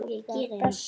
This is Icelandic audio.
var best.